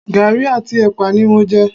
Garí àti epa ni mo jẹ